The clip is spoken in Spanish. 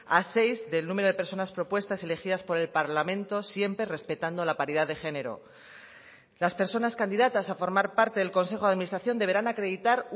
a seis del número de personas propuestas elegidas por el parlamento siempre respetando la paridad de género las personas candidatas a formar parte del consejo de administración deberán acreditar